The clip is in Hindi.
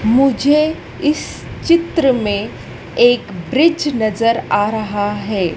मुझे इस चित्र मे एक ब्रिज नज़र आ रहा है।